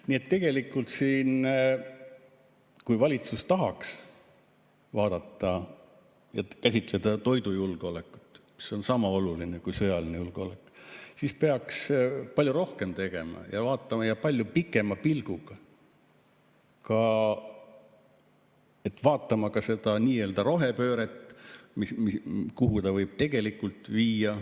Nii et tegelikult, kui valitsus tahaks vaadata ja käsitleda toidujulgeolekut, mis on sama oluline kui sõjaline julgeolek, siis peaks palju rohkem tegema ja palju pikema pilguga vaatama ka seda nii-öelda rohepööret, et kuhu ta võib tegelikult viia.